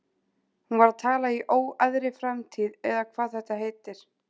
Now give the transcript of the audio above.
Hún var að tala í óræðri framtíð eða hvað þetta heitir.